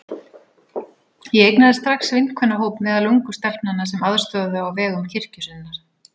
Ég eignaðist strax vinkvennahóp meðal ungu stelpnanna sem aðstoðuðu á vegum kirkju sinnar.